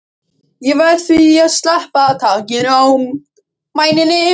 Ég verð því að sleppa takinu á mæninum.